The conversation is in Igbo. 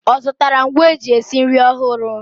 Ọ zụtara ngwa eji esi nri ọhụrụ?